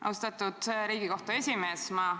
Austatud Riigikohtu esimees!